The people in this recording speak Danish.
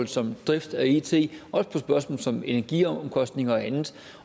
som drift af it også på som energiomkostninger og andet